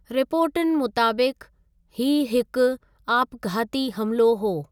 रिपोर्टुनि मुताबिक़, हीअ हिकु आपघाती हमिलो हो।